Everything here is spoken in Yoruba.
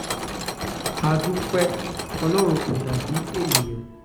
a dúpẹ́ pé ọlọ́run kò dà bíi ènìyàn